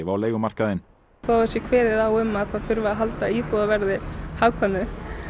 á leigumarkaðinn þó það sé kveðið á um að það þurfi að halda íbúðaverði hagkvæmu